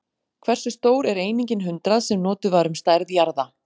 Hversu stór er einingin hundrað, sem notuð var um stærð jarða?